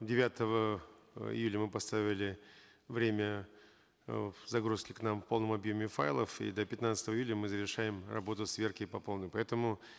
девятого э июля мы поставили время э загрузки к нам в полном объеме файлов и до пятнадцатого июля мы завершаем работу сверки по полной поэтому